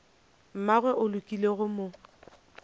mmagwe o lekile go mo